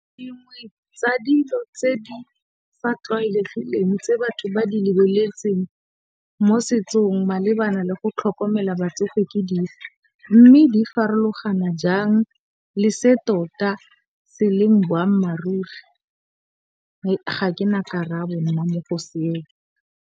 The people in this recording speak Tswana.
Dingwe tsa dilo tse di fa tlwaelegileng tse batho ba di lebeletseng mo setsong malebana le go tlhokomela batsofe ke dife, mme di farologana jang le se tota se leng boammaruri? Ga ke na karabo nna mo go seo.